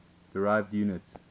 derived units